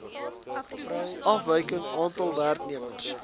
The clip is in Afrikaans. afwyking aantal werknemers